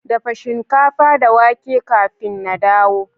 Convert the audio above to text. Dafa shinkafa da wake kafin na dawo